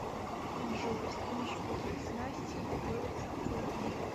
джой с помощью каких снастей ловится окунь